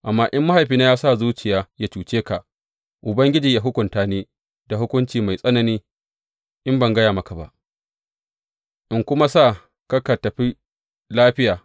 Amma in mahaifina ya sa zuciya yă cuce ka, Ubangiji yă hukunta ni da hukunci mai tsanani in ban gaya maka ba, in kuma sa ka ka tafi lafiya.